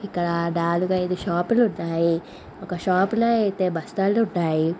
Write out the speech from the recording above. ఇక్కడ నాలుగు ఐదు షాపులు ఉన్నాయ్. ఒక షాపులో అయితే బస్తాలు ఉన్నాయి.